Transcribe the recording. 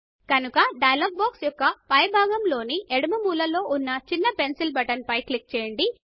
కనుక dialogue box యొక్క పై భాగము లోని ఎడమ మూల లో ఉన్న చిన్న పెన్సిల్ బటన్ పై క్లిక్ చేయండి